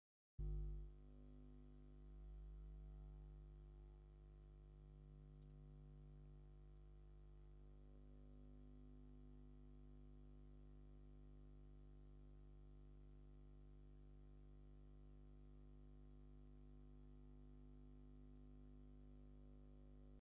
መጉዓዝያ፦ ዓይነታት መጉጋዝያ ዝበሃሉ 2ተ ዓይነት እዮም፤ ንሳቶምእውን ባህላውን ዘመናውን መጉዓዝያ ይበሃሉ። ዝተፈላለዩ ሸክሚታት ተሸኪማ ትጓዓዝ ዘላ ኣድጊ እያ። ካብ ናይ ዘመናዊ መጉዓዝያ ዝበሃሉ መን መን እዮም?